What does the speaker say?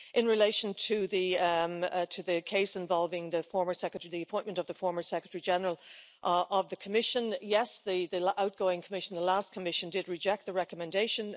In relation to the case involving the former secretary, the appointment of the former Secretary General of the Commission yes, the outgoing Commission, the last Commission, did reject the recommendation.